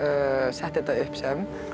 setti þetta upp sem